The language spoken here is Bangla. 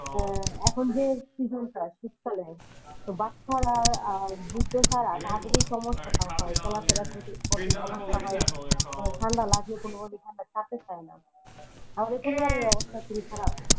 হ্যাঁ এখন যে season টা শীতকালে তো বাচ্চারা আর বৃদ্ধ ছাড়া তাদের ই সমস্যা টা হয় চলা ফেরা ক~করতে সমস্যা হয় ঠাণ্ডা লাগলে কোনোমতে ঠাণ্ডা ছাড়তে চায়না সবারই অবস্থা খুবই খারাপ।